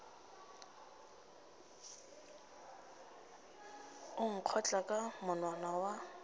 o nkgotla ka monwana wa